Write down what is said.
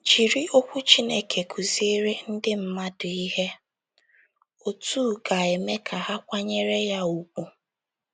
Jiri Okwu Chineke kụziere ndị mmadụ ihe otú ga - eme ka ha kwanyere ya ùgwù.